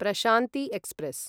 Prashanti express